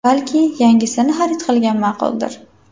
Balki, yangisini xarid qilgan ma’quldir?